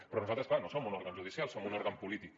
però nosaltres clar no som un òrgan judicial som un òrgan polític